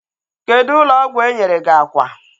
Kedụ ụlọ ọgwụ enyere gị akwa?